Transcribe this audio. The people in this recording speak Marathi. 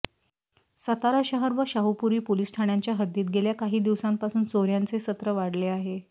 सातारा शहर व शाहूपुरी पोलिस ठाण्याच्या हद्दीत गेल्या काही दिवसांपासून चोर्यांचे सत्र वाढले आहे